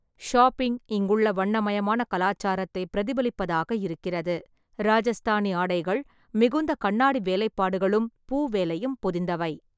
Shopping இங்குள்ள வண்ணமயமான கலாச்சாரத்தை பிரதிபலிப்பதாக இருக்கிறது, ராஜஸ்தானி ஆடைகள் மிகுந்த கண்ணாடி வேலைப்பாடுகளும் பூவேலையும் பொதிந்தவை.